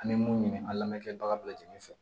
An bɛ mun ɲini an lamɛn kɛ baga bɛɛ lajɛlen fɛ